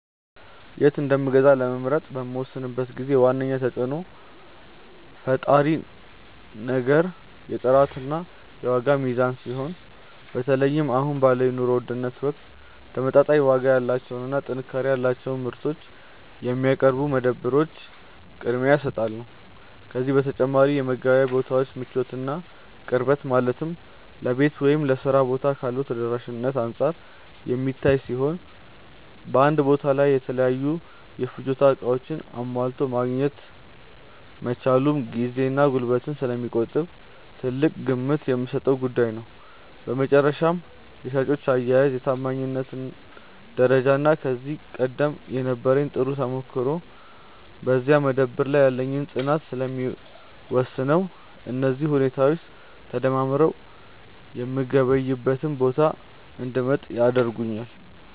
የት እንደምገዛ ለመምረጥ በምወስንበት ጊዜ ዋነኛው ተጽዕኖ ፈጣሪ ነገር የጥራትና የዋጋ ሚዛን ሲሆን፣ በተለይም አሁን ባለው የኑሮ ውድነት ወቅት ተመጣጣኝ ዋጋ ያላቸውንና ጥንካሬ ያላቸውን ምርቶች የሚያቀርቡ መደብሮች ቅድሚያ እሰጣቸዋለሁ። ከዚህ በተጨማሪ የመገበያያ ቦታው ምቾትና ቅርበት፣ ማለትም ለቤት ወይም ለሥራ ቦታ ካለው ተደራሽነት አንጻር የሚታይ ሲሆን፣ በአንድ ቦታ ላይ የተለያዩ የፍጆታ ዕቃዎችን አሟልቶ ማግኘት መቻሉም ጊዜንና ጉልበትን ስለሚቆጥብ ትልቅ ግምት የምሰጠው ጉዳይ ነው። በመጨረሻም የሻጮች አያያዝ፣ የታማኝነት ደረጃና ከዚህ ቀደም የነበረኝ ጥሩ ተሞክሮ በዚያ መደብር ላይ ያለኝን ፅናት ስለሚወስነው፣ እነዚህ ሁኔታዎች ተደማምረው የምገበያይበትን ቦታ እንድመርጥ ያደርጉኛል።